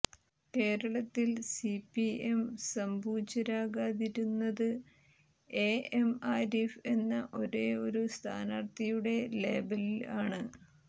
കേരളത്തിൽ സിപിഎം സംപൂജ്യരാകാതിരുന്നത് എഎം ആരിഫ് എന്ന ഒരേ ഒരു സ്ഥാനാർത്ഥിയുടെ ലേബലിൽ ആണ്